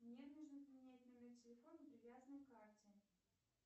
мне нужно поменять номер телефона привязанный к карте